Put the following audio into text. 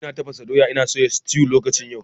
Ina tafasa doya ina soya sutew a daidai lokacin yau.